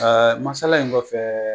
Masala in kɔfɛ